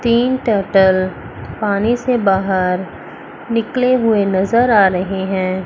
तीन टर्टल पानी से बाहर निकले हुए नजर आ रहे हैं।